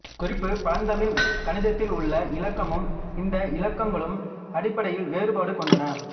குறிப்பு பழந்தமிழ் கணிதத்தில் உள்ள இலக்கமும் இந்த இலக்கங்களும் அடிப்படையில் வேறுபாடு கொண்டன